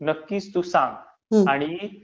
नक्कीच तू सांग, आणि